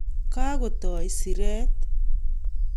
kakotoi siiret